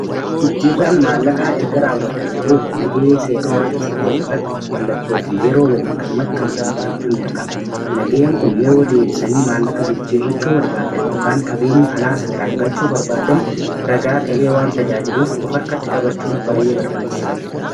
Jijjiirraan maallaqaa erga raawwatame booda nagayee seera qabeessatae irratti mallattoo fi yeroo waliin kan maxxanfame fudhachuun dirqama. Nagayen kun yeroo deebisanii maallaqa jijjiirrachuu barbaadan yookaan qabeenya alaa seeraan galchuu barbaadan ragaa ta'ee waan tajaajiruuf of harkatti qabachuun baay'ee barbaachisaadha.